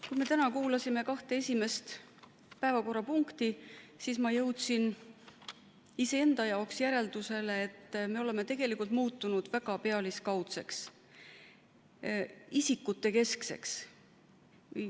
Kui me täna kuulasime kahte esimest päevakorrapunkti, siis ma jõudsin iseenda jaoks järeldusele, et me oleme tegelikult muutunud väga pealiskaudseks, isikutekeskseks.